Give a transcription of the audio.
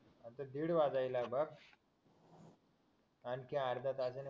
अरे दीड वाजायलाय बघ आणखी अर्ध्या तासाने